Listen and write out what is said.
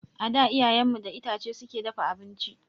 A da iyayen mu da itace suke dafa abinci